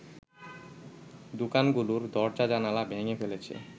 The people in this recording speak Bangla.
দোকানগুলোর দরজা-জানালা ভেঙে ফেলেছে